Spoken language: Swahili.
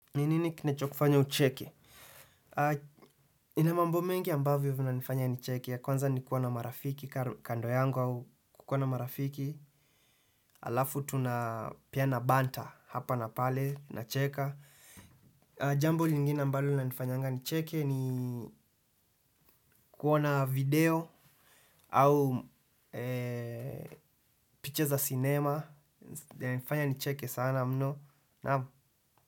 Ni nini kinacho kufanya ucheke? Nina mambo mengi ambavyo vina nifanya nicheke ya kwanza ni kuwa na marafiki kando yangu au kukuwa na marafiki alafu tuna pia na banta hapa na pale nacheka. Jambo lingine ambalo lina nifanya nicheke kuona video au picha za cinema. Nifanya nicheke sana mno naam.